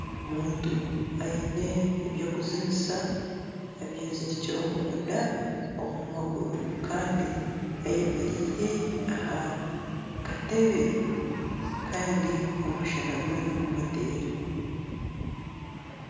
Omuntu aine eby'okuzinisa abyezirikire omunda omu maguru kandi ayemereire aha katebe kandi omushana guriyo nigumuteera.